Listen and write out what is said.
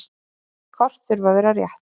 Kort þurfa að vera rétt.